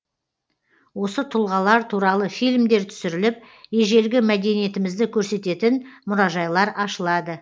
осы тұлғалар туралы фильмдер түсіріліп ежелгі мәдениетімізді көрсететін мұражайлар ашылады